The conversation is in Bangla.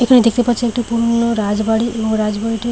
এখানে দেখতে পাচ্ছি একটা পুরোনো রাজবাড়ী এবং রাজবাড়িটি--